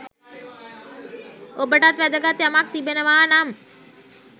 ඔබටත් වැදගත් යමක් තිබෙනවානම්